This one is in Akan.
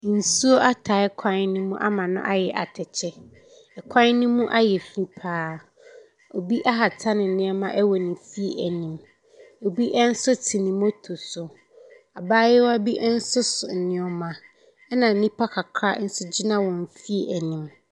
Nsuo atae kwan no mu ama kwan no mu ayɛ atɛkyɛ. Kwan no mu ayɛ fi pa ara. Obi ahata nneɛma wɔ ne fie anim. Obo nso te ne motor so. Abaayewa bi nso so nneɛma, ɛna nnipa kakra nso gyina wɔn fie anim.